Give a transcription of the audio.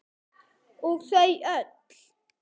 Og þau öll.